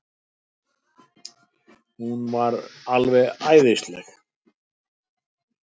Hún var alveg æðisleg.